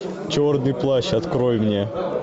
черный плащ открой мне